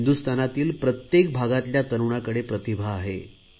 हिंदुस्थानातील प्रत्येक भागातल्या तरुणाकडे प्रतिभा आहे